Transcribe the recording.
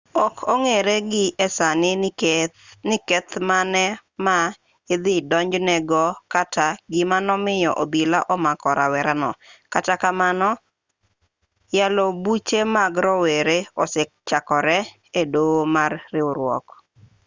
ok ong'ere gi e sani ni keth mage ma idhi donjne go kata gima nomiyo obila omako rawerano kata kamano yalo buche mag rowere osechakore e doho mar riwruok